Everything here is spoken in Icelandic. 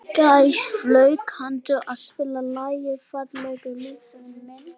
Gæflaug, kanntu að spila lagið „Fallegi lúserinn minn“?